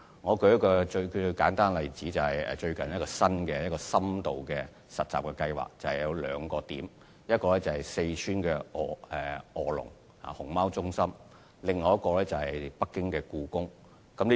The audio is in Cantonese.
我舉一個簡單例子，就是最近一個新的深度實習計劃有兩個地點：一個是四川臥龍熊貓中心，另一個是北京故宮。